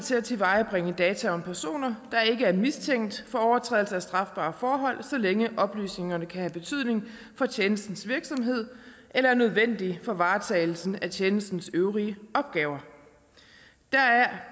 til at tilvejebringe data om personer der ikke er mistænkt for overtrædelse af strafbare forhold så længe oplysningerne kan have betydning for tjenestens virksomhed eller er nødvendige for varetagelsen af tjenestens øvrige opgaver deraf